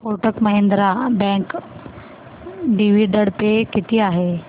Kotak Mahindra bank dividend pay किती आहे